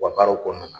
U ka baaraw kɔnɔna na